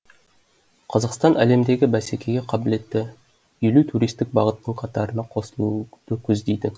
қазақстан әлемдегі бәсекеге қабілетті елу туристік бағыттың қатарына қосылуды көздейді